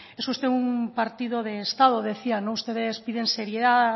es usted un partido de estado decía ustedes piden seriedad